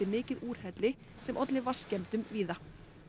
mikið úrhelli sem olli vatnsskemmdum víða